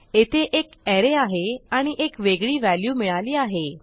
येथे एक arrayआहे आणि एक वेगळी व्हॅल्यू मिळाली आहे